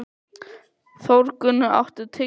Þórgunna, áttu tyggjó?